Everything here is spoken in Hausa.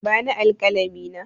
Bani alƙalami na!